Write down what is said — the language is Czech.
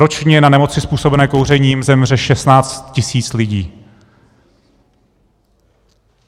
Ročně na nemoci způsobené kouřením zemře 16 tisíc lidí.